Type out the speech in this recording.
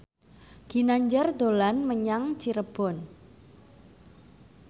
Ginanjar dolan menyang Cirebon